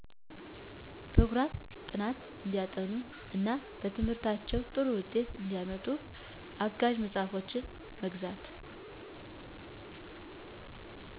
በፕሮግራም ጥናት እንዲያጠኑ እና በትምህርታቸው ጥሩ ውጤት እንዲያመጡ አጋዠ መፅሐፎችን መግዛት